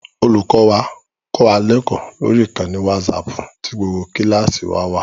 Olùkọ́ wa kọ́ wa lẹ́kọ̀ọ́ lórí ìkànnì wásaaàpù tí gbogbo kíláàsì wa wà